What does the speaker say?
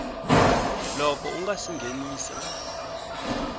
loko u nga si nghenisa